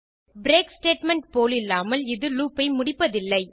break statement போலில்லாமல் இது loop ஐ முடிப்பதில்லை